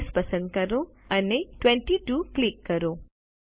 size પસંદ કરો અને 22 ક્લિક કરો